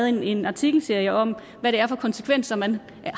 en artikelserie om hvad det er for konsekvenser man